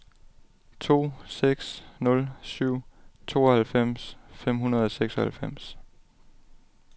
to seks nul syv tooghalvfems fem hundrede og seksoghalvfems